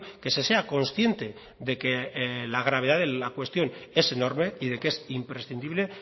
que se sea consciente de que la gravedad de la cuestión es enorme y de que es imprescindible